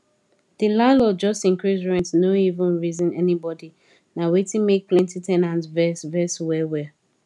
the landlord just increase rent no even reason anybody na wetin make plenty ten ants vex vex well well